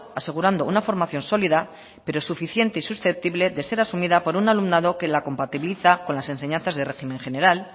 asegurando una formación sólida pero suficiente y susceptible de ser asumida por un alumnado que la compatibiliza con las enseñanzas de régimen general